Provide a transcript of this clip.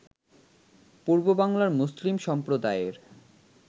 পূর্ববাংলার মুসলিম সম্প্রদায়ের